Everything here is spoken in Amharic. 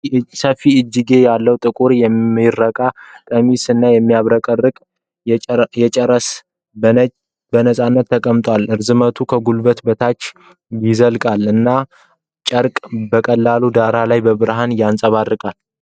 ሰፊ እጅጌ ያለው ጥቁር የምረቃ ቀሚስ እና የሚያብረቀርቅ አጨራረስ በነፃነት ተንጠልጥሏል። ርዝመቱ ከጉልበት በታች ይዘልቃል እና ጨርቁ በቀላል ዳራ ላይ ብርሃንን ያንፀባርቃል::